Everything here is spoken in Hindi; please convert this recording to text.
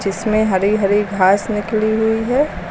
इसमें हरी हरी घास निकली हुई है।